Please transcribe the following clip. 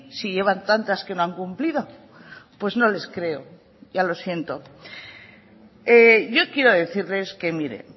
si llevan tantas que no han cumplido pues no les creo ya lo siento yo quiero decirles que mire